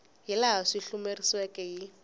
hi laha swi hlamuseriweke hi